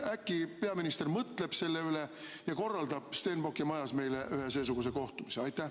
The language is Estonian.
Äkki peaminister mõtleb selle üle ja korraldab Stenbocki majas meile ühe seesuguse kohtumise?